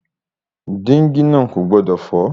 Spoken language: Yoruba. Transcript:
Dígí náà kò gbọdọ̀ fọ́.